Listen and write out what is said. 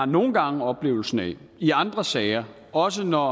nogle gange har oplevelsen af i andre sager også når